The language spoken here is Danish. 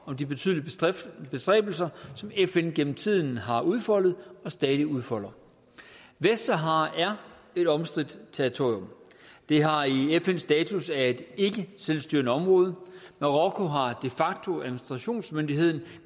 om de betydelige bestræbelser som fn gennem tiden har udfoldet og stadig udfolder vestsahara er et omstridt territorium det har i fn status som et ikkeselvstyrende område marokko har de facto administrationsmyndigheden